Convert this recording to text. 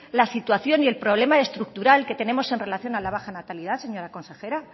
la situación y el problema estructural que tenemos en relación a la baja natalidad señora consejera